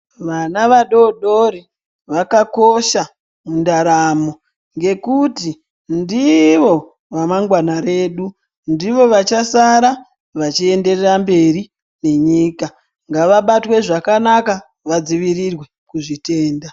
Vana vadodori vakakosha mundaramo ngekuti ndivo ramangwana redu. Ndivo vachasara vachienderera mberi nenyika. Ngavabatwe zvakanaka vadzivirirwe kuzvitenda.